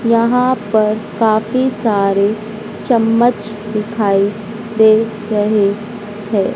यहां पर काफी सारे चम्मच दिखाई दे रहे हैं।